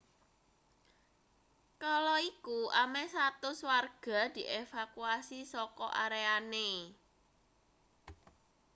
kala iku ameh 100 warga dievakuasi saka areane